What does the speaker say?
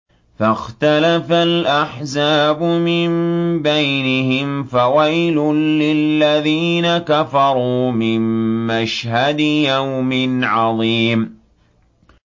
فَاخْتَلَفَ الْأَحْزَابُ مِن بَيْنِهِمْ ۖ فَوَيْلٌ لِّلَّذِينَ كَفَرُوا مِن مَّشْهَدِ يَوْمٍ عَظِيمٍ